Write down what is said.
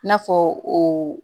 N'a fɔ o